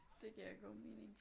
Det giver god mening